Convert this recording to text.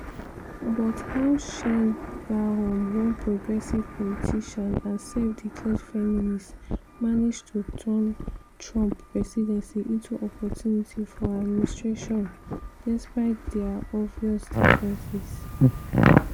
but how sheinbaum - one progressive politician and self-declared feminist - manage to turn trump presidency into opportunity for her administration despite dia obvious differences?